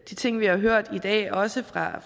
de ting vi har hørt i dag også fra